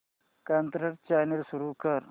Kannada channel सुरू कर